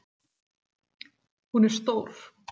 Hún er stór.